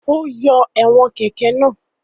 Ó yọ ẹ̀wọ̀n kẹ̀kẹ́ náà.